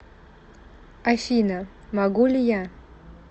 афина могу ли я